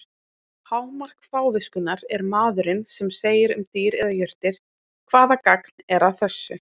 Hámark fáviskunnar er maðurinn sem segir um dýr eða jurtir: Hvaða gagn er að þessu?